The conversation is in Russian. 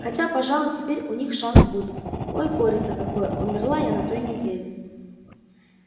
хотя пожалуй теперь у них шанс будет ой горе-то какое умерла я на той неделе